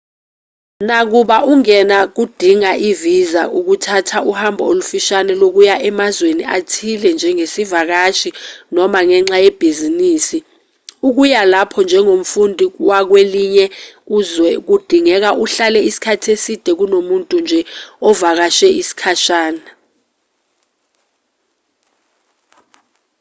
nakuba ungena kudinga i-visa ukuthatha uhambo olufishane lokuya emazweni athile njengesivakashi noma ngenxa yebhizinisi ukuya lapho njengomfundi wakwelinye izwekudingeka uhlale isikhathi eside kunomuntu nje ovakashe isikhashana